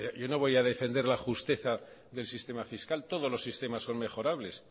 yo no voy a defender la justeza del sistema fiscal todos los sistemas son mejorables